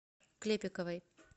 клепиковой